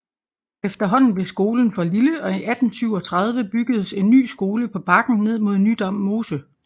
Efterhånden blev skolen for lille og i 1837 byggedes en ny skole på bakken ned mod Nydam Mose